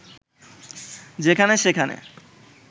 যেখানে সেখানে